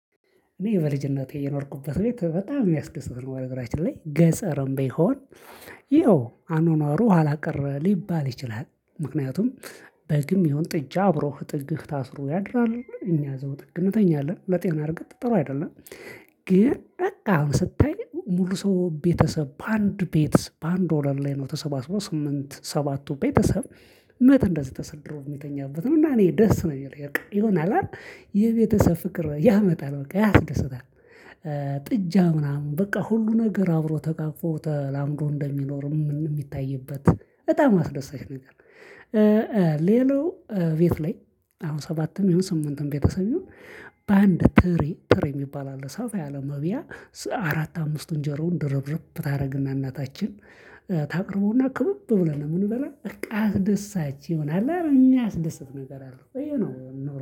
እኔ በልጅነቴ የኖርኩበት ቤት በጣም የሚያስደስት ነው ነገራችን ላይ ገጸርም ቢሆን ይኸው አኖኗሩ ኋላ ቀረ ሊባል ይችላል። ምክንያቱም በግም ይሁን ጥጃ አብሮህ ጥግህ ታስሮ ያድራል እኛ ዘውጥግ እንተኛለን ለጤና እርግጥ ጥሩ አይደለም። ግን አሁን ስታይ ሙሉ ሰው ቤተሰብ በአንድ ቤት በአንድ ወለል ላይ ነው ተሰባስበው ስምንት ሰባቱ ቤተሰብ። መት እንደዚህ ተሰድሮ የሚተኛበት ነው። እና እኔ ደስ ነው የሚለኝ በቃ ይሆነ አለ አይደል የቤተሰብ ፍቅር ያመጣል በቃ ያስደስታል። ጥጃ ምናምን በቃ ሁሉ ነገር አብሮ ተቃቅፎ ትላምዶ እንደሚኖር የሚታይበት በጣም አስደሳች ነገር። ሌላው ቤት ላይ አሁን ሰባትም ይሁን ስምንትም ቤተሰብ ይሁን። በአንድ ትሪ ትሪ የሚባል አለ ሰፋ ያለ መብያ። አራት አምስት እንጀራውን ድርብርብ ታደርግና እናታችን ታቅርበውና ክቡብ ብለን ነው። የምንበላ በቃ አስደሳች ይሆናል የሚያስደስት ነገር አለው ይሄ ነው